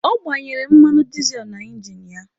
Ọ gbanyere mmanụ dịzel na ingin ya.